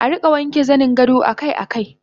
Arika wanke zaningado akai akai